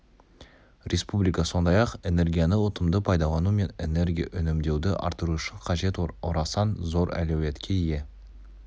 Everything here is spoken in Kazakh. республика сондай-ақ энергияны ұтымды пайдалану мен энергия үнемдеуді арттыру үшін қажет орасан зор әлеуетке ие